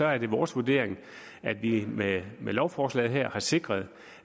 er det vores vurdering at vi med lovforslaget her har sikret